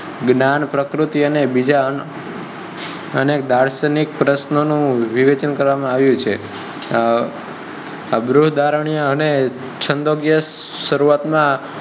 જ્ઞાન, પ્રકૃતિ અને બીજા અનેક દાર્શનિક પ્રશ્નો નું વિવેચન કરવા માં આવ્યું છે. અબૃદર્ણાય અને છ્ંદોગિય શરૂવાત ના